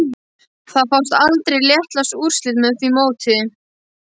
Það fást aldrei réttlát úrslit með því móti